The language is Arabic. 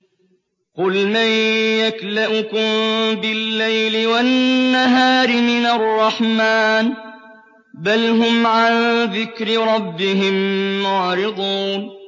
قُلْ مَن يَكْلَؤُكُم بِاللَّيْلِ وَالنَّهَارِ مِنَ الرَّحْمَٰنِ ۗ بَلْ هُمْ عَن ذِكْرِ رَبِّهِم مُّعْرِضُونَ